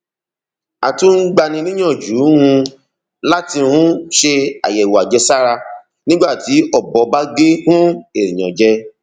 a tún ń gbani níyànjú um láti um ṣe àyẹwò àjẹsára nígbà tí ọbọ bá gé um èèyàn jẹ